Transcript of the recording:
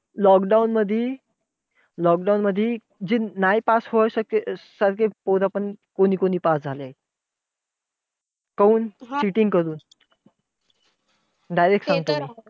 Lockdown मधी, lockdown मधी जे नाय pass होऊ सारखे सारखे पोरं पण अं कोणी कोणी पास झालेय. काऊन cheating करून. direct सांगतो मी. ते तर आहेच!